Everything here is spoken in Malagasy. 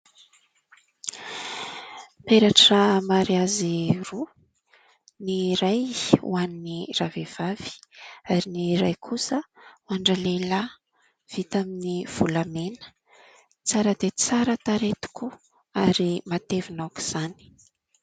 Peratra mariazy roa ny iray ho an'i ravehivavy ary ny iray kosa ho an-dralehilahy vita amin'ny volamena. Tsara dia tsara tarehy tokoa ary matevina aoka izany.